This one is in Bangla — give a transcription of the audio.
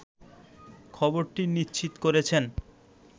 খবরটি নিশ্চিত করেছেন